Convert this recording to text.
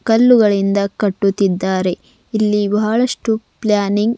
ಕಲ್ಲುಗಳಿಂದ ಕಟ್ಟುತ್ತಿದ್ದಾರೆಇಲ್ಲಿ ಬಹಳಷ್ಟು ಪ್ಲಾನಿಂಗ್ --